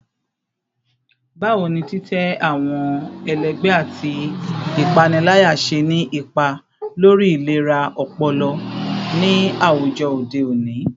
Bawo ni titẹ awọn ẹlẹgbẹ ati ipanilaya ṣe ni ipa lori ilera ọpọlọ ni awujọ ode oni?